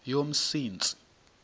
yomsintsi